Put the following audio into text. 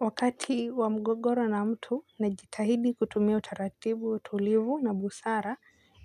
Wakati wa mgogoro na mtu na jitahidi kutumia utaratibu utulivu na busara